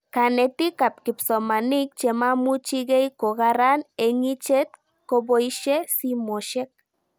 Kanetik ak kipsomanik che maimuchikei ko karan eng'ichet kopoishe simoshek